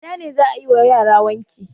A ina ne za a yi wa yara wanki?